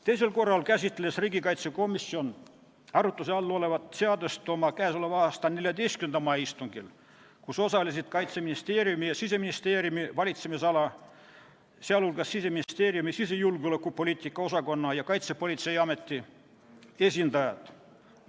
Teisel korral käsitles riigikaitsekomisjon arutluse all olevat seadust oma 14. mai istungil, kus osalesid Kaitseministeeriumi ja Siseministeeriumi valitsemisala, sh Siseministeeriumi sisejulgeolekupoliitika osakonna ja Kaitsepolitseiameti esindajad.